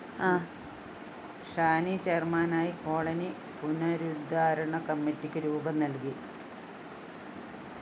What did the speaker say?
ഷാനി ചെയര്‍മാനായി കോളനി പുനരുദ്ധാരണ കമ്മിറ്റിക്ക് രൂപം നല്‍കി